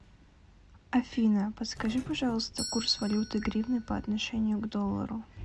афина подскажи пожалуйста курс валюты гривны по отношению к доллару